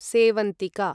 सेवन्तिका